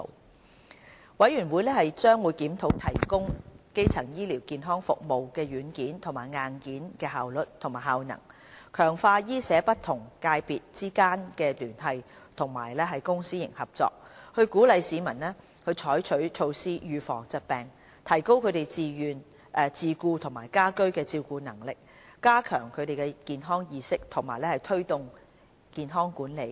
督導委員會將會檢討提供基層醫療健康服務的軟件和硬件的效率及效能、強化醫社不同界別之間的聯繫及公私營合作、鼓勵市民採取措施預防疾病、提高他們的自顧和家居照顧能力、加強他們的健康意識及推動健康管理。